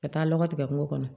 Ka taa lɔgɔ tigɛ kungo kɔnɔ